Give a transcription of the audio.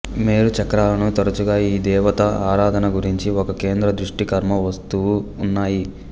మేరు చక్రాలను తరచుగా ఈ దేవత ఆరాధన గురించి ఒక కేంద్ర దృష్టి కర్మ వస్తువు ఉన్నాయి